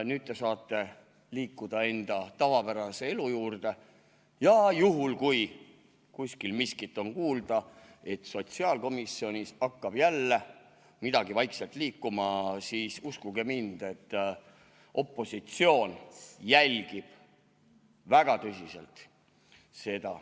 Nüüd te saate liikuda enda tavapärase elu juurde ja juhul, kui kuskil miskit on kuulda, et sotsiaalkomisjonis hakkab jälle midagi vaikselt liikuma, siis uskuge mind, opositsioon jälgib seda väga tõsiselt.